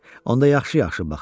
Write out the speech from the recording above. Onda yaxşı-yaxşı baxın.